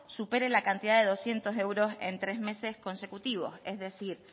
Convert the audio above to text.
supere la cantidad de doscientos euros en tres meses consecutivos es decir